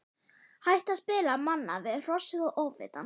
Hætta að spila manna við Hrossið og Ofvitann.